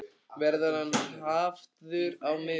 Verður hann hafður á miðjunni?